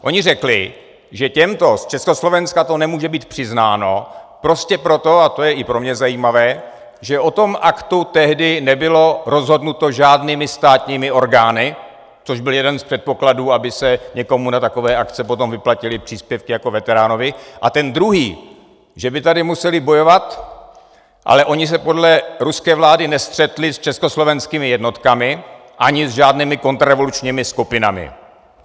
Oni řekli, že těmto z Československa to nemůže být přiznáno, prostě proto - a to je i pro mě zajímavé - že o tom aktu tehdy nebylo rozhodnuto žádnými státními orgány, což byl jeden z předpokladů, aby se někomu na takové akce potom vyplatily příspěvky jako veteránovi, a ten druhý, že by tady museli bojovat, ale oni se podle ruské vlády nestřetli s československými jednotkami ani s žádnými kontrarevolučními skupinami.